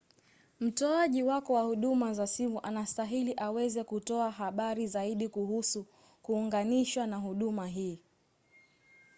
mtoaji wako wa huduma za simu anastahili aweze kutoa habari zaidi kuhusu kuunganishwa na huduma hii